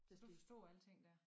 Du forstod alting dér